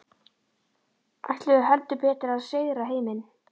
Ætluðu heldur betur að sigra heiminn.